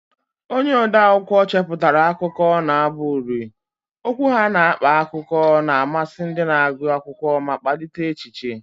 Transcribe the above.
Onye ode akwụkwọ chepụtara akụkọ na abụ uri, okwu ha na-akpa akụkọ na-amasị ndị na-agụ akwụkwọ ma kpalite echiche.